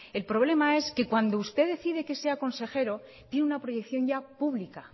el problema es que cuando usted decide que sea consejero tiene una proyección ya pública